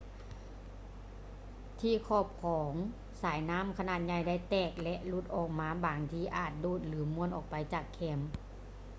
ທີ່ຂອບຂອງສາຍນໍ້າຂະໜາດໃຫຍ່ໄດ້ແຕກ ແລະ ຫຼຸດອອກມາບາງທີອາດໂດດ ຫຼື ມ້ວນອອກໄປຈາກແຄມ